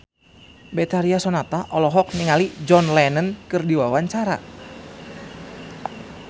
Betharia Sonata olohok ningali John Lennon keur diwawancara